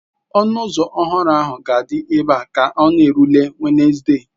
Ọnụ ụzọ ọhụrụ ahụ ga-adị ebe a ka ọ na-erule Wenezde.